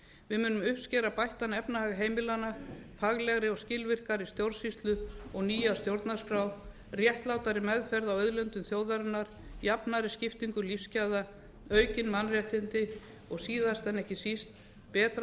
við munum uppskera bættan efnahag heimilanna faglegri og skilvirkari stjórnsýslu og nýja stjórnarskrá réttlátari meðferð á auðlindum þjóðarinnar jafnari skiptingu lífsgæða aukin mannréttindi og síðast en ekki síst betra